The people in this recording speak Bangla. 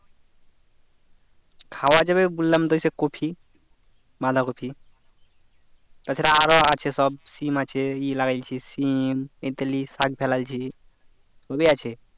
খাওয়া যাবে বললাম তো ওই সেই কপি বাঁধাকপি তাছাড়া আরো আছে সব সিম আছে ই লাগিয়েছি সিম শাক ফালাইছি সবই আছে